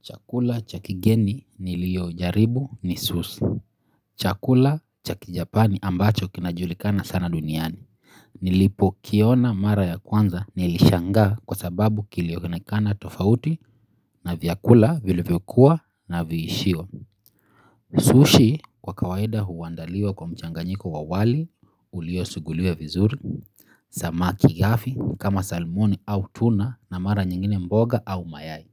Chakula cha kigeni nilio jaribu ni sossi. Chakula cha kijapani ambacho kinajulikana sana duniani. Nilipo kiona mara ya kwanza nilishanga kwa sababu kilionekana tofauti na vyakula vilivyokuwa na viishio. Sushi kwa kawaida huandaliwa kwa mchanganyiko wawali ulio suguliwa vizuri. Samaki gafi kama salmoni au tuna na mara nyingine mboga au mayai.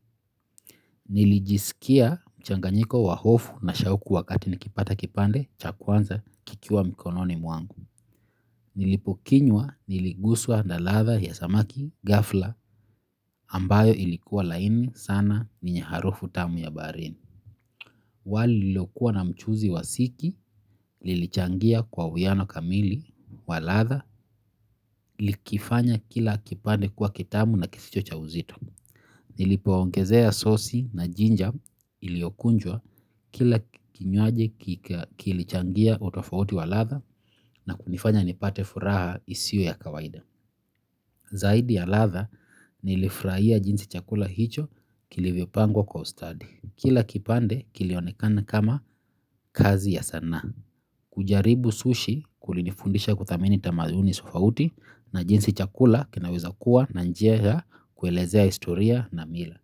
Nilijisikia mchanganyiko wa hofu na shauku wakati nikipata kipande cha kwanza kikiwa mikononi mwangu. Nilipo kinywa niliguswa na ladha ya samaki gafla ambayo ilikuwa laini sana yenye harufu tamu ya baharini. Wali lililo kuwa na mchuzi wa siki lilichangia kwa uwiano kamili wa ladha likifanya kila kipande kuwa kitamu na kisicho cha uzito. Nilipo ongezea sosi na jinja iliokunjwa kila kinywaji kilichangia utofauti wa ladha na kunifanya nipate furaha isio ya kawaida. Zaidi ya ladha nilifurahia jinsi chakula hicho kilivyopangwa kwa ustadi. Kila kipande kilionekana kama kazi ya sana. Kujaribu sushi kulinifundisha kudhamini tamaduni tofauti na jinsi chakula kinaweza kuwa na njia ya kuelezea historia na mila.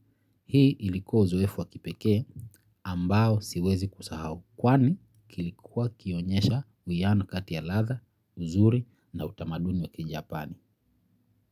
Hii ilikuwa uzoefu wakipekee ambao siwezi kusahau kwani kilikuwa kikionyesha uwiano kati ya ladha, nzuri na utamaduni wa kijapani.